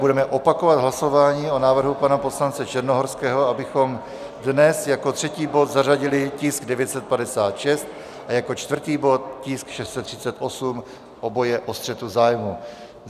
Budeme opakovat hlasování o návrhu pana poslance Černohorského, abychom dnes jako třetí bod zařadili tisk 956 a jako čtvrtý bod tisk 638, oba o střetu zájmů.